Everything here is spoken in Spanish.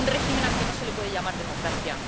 un régimen al que no se le puede llamar democracia.